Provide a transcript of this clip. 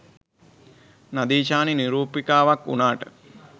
නදීෂානි නිරූපිකාවක් වුණාට